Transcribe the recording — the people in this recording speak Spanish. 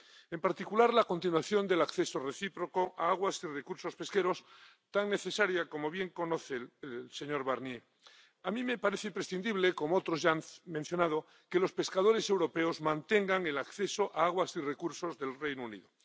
en particular, la continuación del acceso recíproco a aguas y recursos pesqueros tan necesaria —como bien conoce el señor Barnier—. A mí me parece imprescindible —como otros ya han mencionado— que los pescadores europeos mantengan el acceso a las aguas y los recursos del Reino Unido.